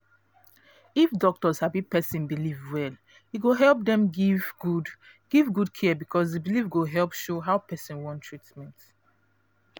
if doctor sabi person belief well e go help dem give good give good care because the belief go help show how person want treatment